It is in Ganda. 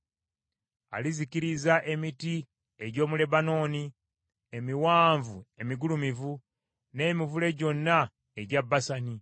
Alizikiriza emiti gy’omu Lebanooni, emiwanvu emigulumivu, n’emivule gyonna egya Basani.